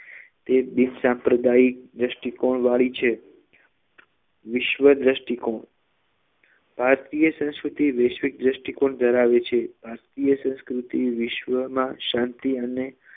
તે બિનસાંપ્રદાયિક દ્રષ્ટિકોણ વાળી છે વિશ્વદ્રષ્ટિકોણ ભારતીય સંસ્કૃતિ વૈશ્વિક દ્રષ્ટિકોણ ધરાવે છે ભારતીય સંસ્કૃતિ વિશ્વમાં શાંતિ અને